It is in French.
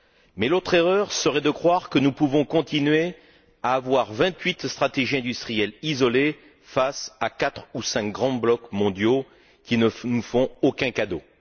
Mais l'autre erreur serait de croire que nous pouvons continuer à avoir vingt huit stratégies industrielles isolées face à quatre ou cinq grands blocs mondiaux qui ne nous font aucun cadeau.